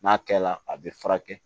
N'a kɛla a bɛ furakɛ